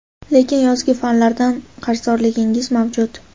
lekin yozgi fanlardan qarzdorligingiz mavjud.